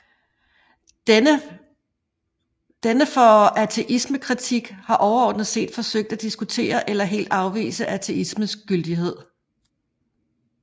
Denne for ateismekritik har overordnet set forsøgt at diskutere eller helt afvise ateismens gyldighed